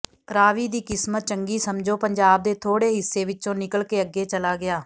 ਰਾਵੀ ਦੀ ਕਿਸਮਤ ਚੰਗੀ ਸਮਝੋ ਪੰਜਾਬ ਦੇ ਥੋੜੇ ਹਿੱਸੇ ਵਿੱਚੋਂ ਨਿਕਲ ਕੇ ਅੱਗੇ ਚਲਾ ਗਿਆ